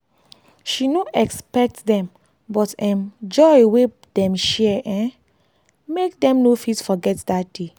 she no expect dem but um joy wey dem share um make dem no fit forget dat day.